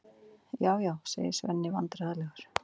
Já, já, segir Svenni vandræðalegur.